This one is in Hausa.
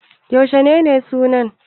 Yaushe ne sunan?